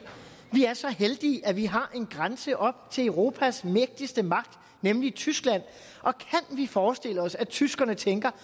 vi er så heldige at vi har en grænse op til europas mægtigste magt nemlig tyskland og kan vi forestille os at tyskerne tænker